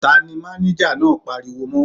Ta ni máníjà náà pariwo mọ́.?